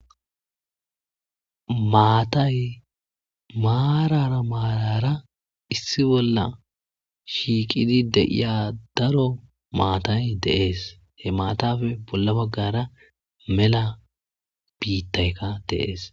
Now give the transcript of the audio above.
Matay marara marara issi bolla shiqid de'iya daro matay Des , izappe bolla bagara mella bitayka Des